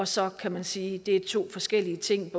så kan man sige at det er to forskellige ting